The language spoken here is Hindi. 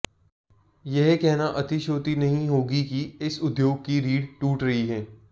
यह कहना अतिशयोक्ति नहीं होगी कि इस उद्योग की रीढ़ टूट रही है